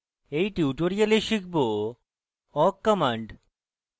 in tutorial শিখব awk command